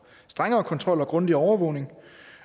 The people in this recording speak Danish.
strengere kontroller og grundigere overvågning